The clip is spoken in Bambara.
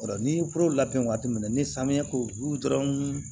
Ni ye foro labɛn waati min na ni samiya ko dɔrɔn